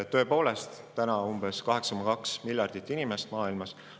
Tõepoolest, täna on umbes 8,2 miljardit inimest maailmas.